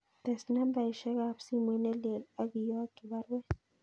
Tes nambaisyek ab simoit nelelach akiyokyi baruet